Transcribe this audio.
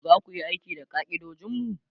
zaku Yi aiki da ka'idojinmu?